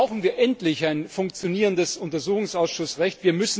Deshalb brauchen wir endlich ein funktionierendes Untersuchungsausschussrecht.